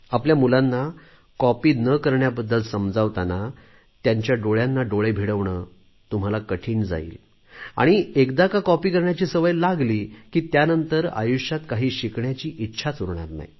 आपल्या मुलांना कॉपी न करण्याबद्दल समजावतांना त्यांच्या डोळ्यांना डोळे भिडवणे तुम्हाला कठीण जाईल आणि एकदा का कॉपी करण्याची सवय लागली की त्यानंतर आयुष्यात काही शिकण्याची इच्छाच उरणार नाही